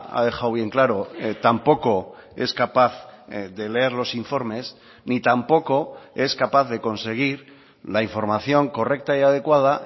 ha dejado bien claro tampoco es capaz de leer los informes ni tampoco es capaz de conseguir la información correcta y adecuada